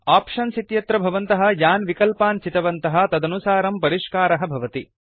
options इत्यत्र भवन्तः यान् विकल्पान् चितवन्तः तदनुसारं परिष्कारः भवति